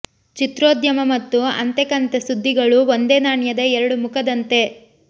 ಚಿತ್ರೋದ್ಯಮ ಮತ್ತು ಅಂತೆ ಕಂತೆ ಸುದ್ದಿಗಳು ಒಂದೇ ನಾಣ್ಯದ ಎರಡು ಮುಖದಂತೆ